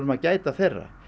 að gæta þeirra